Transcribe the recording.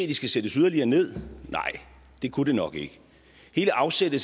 de skal sættes yderligere ned nej det kunne det nok ikke hele afsættet